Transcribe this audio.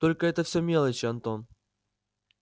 только это всё мелочи антон